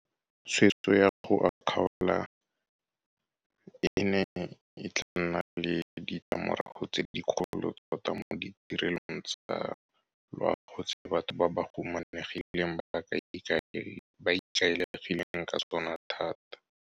Tshwetso ya go a kgaola e ne e tla nna le ditlamorago tse dikgolo tota mo ditirelong tsa loago tse batho ba ba humanegileng ba ikaegileng ka tsona thata.